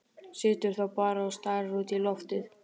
Situr þá bara og starir út í loftið.